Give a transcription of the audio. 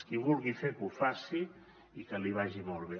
qui vulgui fer que ho faci i que li vagi molt bé